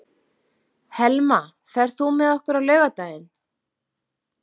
Helma, ferð þú með okkur á laugardaginn?